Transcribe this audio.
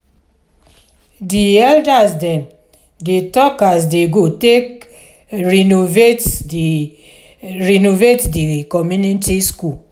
di eldas dem dey talk as dey go take renovate di renovate di community school.